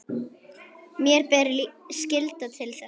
Mér ber skylda til þess.